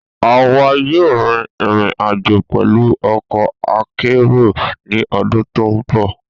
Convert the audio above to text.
A wa yoo rin irin-ajo pẹlu ọkọ akero ni ọdun to nbọ.